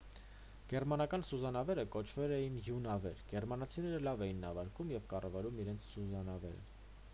գերմանական սուզանավերը կոչվել են յու նավեր գերմանացիները լավ էին նավարկում և կառավարում իրենց սուզանավերը